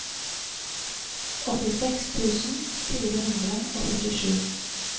åttiseks tusen fire hundre og førtisju